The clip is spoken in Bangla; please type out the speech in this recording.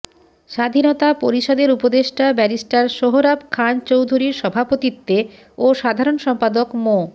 স্বাধীনতা পরিষদের উপদেষ্টা ব্যারিস্টার সোহরাব খান চৌধুরীর সভাপতিত্বে ও সাধারণ সম্পাদক মো